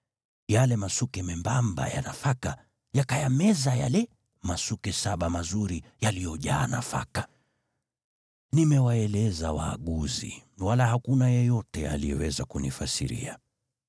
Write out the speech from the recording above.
Yale masuke membamba ya nafaka yakayameza yale masuke saba mazuri yaliyojaa nafaka. Nimewaeleza waaguzi, wala hakuna yeyote aliyeweza kunifasiria.”